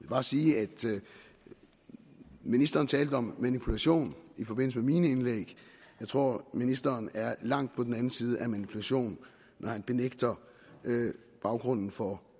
bare sige at ministeren talte om manipulation i forbindelse med mine indlæg jeg tror at ministeren er langt på den anden side af manipulation når han benægter baggrunden for